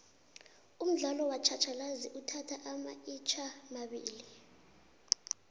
umdlalo wakj hatjhalazi uthatha amaikjamabili